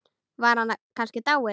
Var hann kannski dáinn?